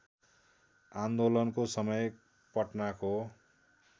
आन्दोलनको समय पटनाको